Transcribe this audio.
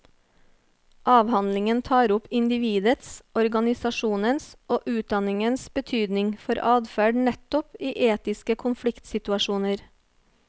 Avhandlingen tar opp individets, organisasjonens og utdanningens betydning for adferd nettopp i etiske konfliktsituasjoner.